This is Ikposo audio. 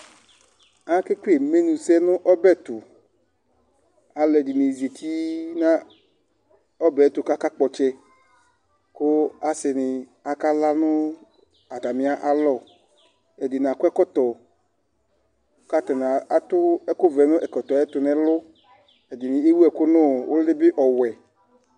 Akekele imenusɛ nʋ ɔbɛ tʋ Alʋɛdɩnɩ zati nʋ ɔbɛ tʋ akakpɔ ɔtsɛ kʋ asɩnɩ akala nʋ atamɩalɔ Ɛdɩnɩ akɔ ɛkɔtɔ kʋ atanɩ atʋ ɛkʋvɛ nʋ ɛkɔtɔ yɛ tʋ nʋ ɛlʋ Ɛdɩnɩ ewu ɛkʋ nʋ ʋlɩ bɩ ɔwɛ